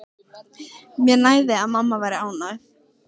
Mér nægði að mamma væri ánægð.